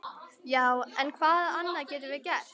Já, en hvað annað getum við gert?